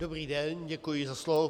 Dobrý den, děkuji za slovo.